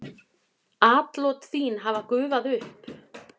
Atlot þín hafa gufað upp.